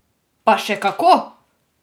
Pa še kako!